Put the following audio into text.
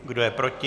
Kdo je proti?